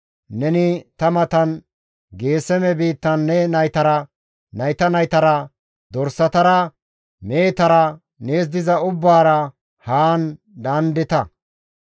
Neni ta matan Geeseme biittan ne naytara, nayta naytara, dorsatara, mehetara, nees diza ubbaara haan daandeta.